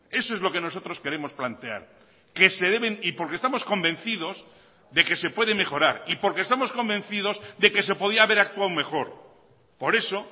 eso es lo que nosotros queremos plantear que se deben y porque estamos convencidos de que se puede mejorar y porque estamos convencidos de que se podía haber actuado mejor por eso